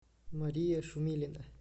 мария шумилина